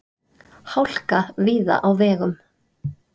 Hálka víða á vegum